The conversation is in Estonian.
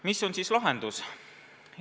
Mis on siis lahendus?